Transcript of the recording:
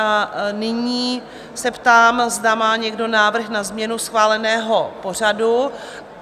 A nyní se ptám, zda má někdo návrh na změnu schváleného pořadu?